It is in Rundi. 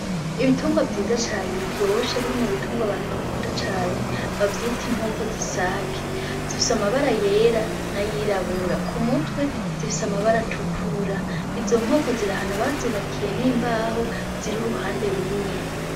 Ibitungwa vyiza cane biryoshe biri mu bitungwa abantu bakunda cane bavyita inkoko z'isake, zifise amabara yera n'ayirabura k'umutwe zifise amabara atukura, izo nkoko ziri ahantu bazubakiye n'imbaho ziri iruhande rumwe.